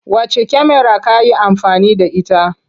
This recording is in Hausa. Wacce kyamara ka yi amfani da ita?